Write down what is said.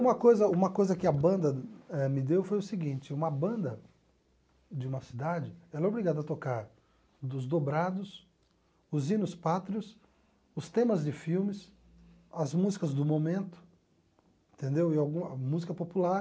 Uma coisa uma coisa que a banda me deu eh foi o seguinte, uma banda de uma cidade é obrigada a tocar os dobrados, os hinos pátrios, os temas de filmes, as músicas do momento, entendeu e alguma música popular.